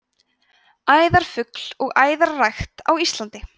æðarfugl og æðarrækt á íslandi